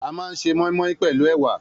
A máa ń se móínmóín pèlú èwà